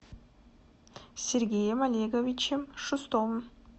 сергеем олеговичем шустовым